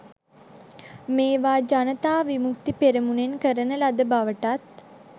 මේවා ජනතා විමුක්ති පෙරමුණෙන් කරන ලද බවටත්